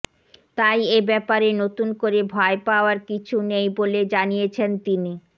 তাই এব্যাপারে নতুন করে ভয় পাওয়ার কিছু নেই বলে জানিয়েছেন তিনি